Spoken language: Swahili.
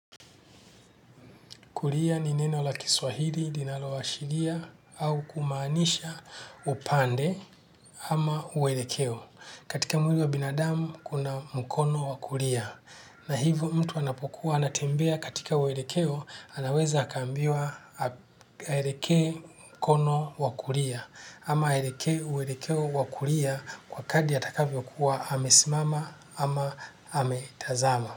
Kulia ni neno la kiswahili, linaloshiria, au kumaanisha upande ama uwelekeo. Katika mwili wa binadamu kuna mkono wa kulia. Na hivyo mtu anapokuwa anatembea katika uelekeo anaweza akaambiwa aelekee mkono wa kulia. Ama aelekee uelekeo wa kulia kwa kadri atakavyokuwa amesimama ama ametazama.